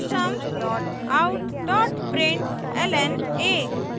system dot out dot println a;